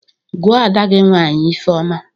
"Gụọ ada gị nwaanyị Ifeoma."